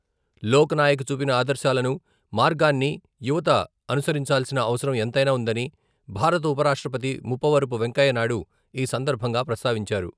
లోక్నాయక్ చూపిన ఆదర్శాలను, మార్గాన్ని యువత అనుసరించాల్సిన అవసరం ఎంతైనా ఉందని భారత ఉపరాష్ట్రపతి ముప్పవరపు వెంకయ్యనాయుడు ఈ సందర్భంగా ప్రస్తావించారు.